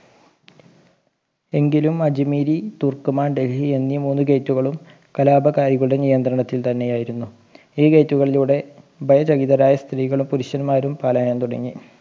എങ്കിലും അജ്‌മീരി തുർക്കുമാൻ ഡൽഹി എന്നീ മൂന്ന് Gate കളും കലാപകാരികളുടെ നിയന്ത്രണത്തിൽ തന്നെ ആയിരുന്നു ഈ Gate കളിലൂടെ ഭയരഹിതരായ സ്ത്രീകളും പുരുഷന്മാരും പാലായനം തുടങ്ങി